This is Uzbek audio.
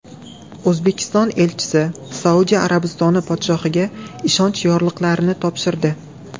O‘zbekiston elchisi Saudiya Arabistoni podshohiga ishonch yorliqlarini topshirdi.